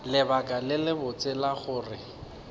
lebaka le lebotse la gore